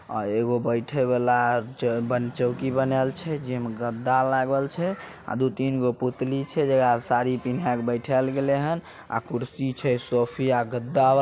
आ एगो बइठे वाला ज बन चौकी बनाएल छै जे मे गद्दा लागल छै अ दू तीन गो पुतली छै जकड़ा साड़ी पिन्हे के बैठाएल गले हेन अ कुर्सी छै सोफिया गद्दा --